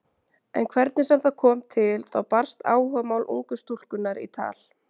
En hvernig sem það kom til þá barst áhugamál ungu stúlkunnar í tal.